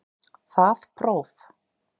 Það próf